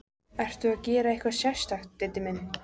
Ertu að gera eitthvað sérstakt, Diddi minn.